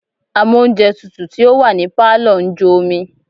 Amóùnjẹtutù tí ó wà ní Pálọ̀ ń jó omi.